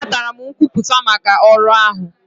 Anatara m nkwupụta maka ọrụ ahụ.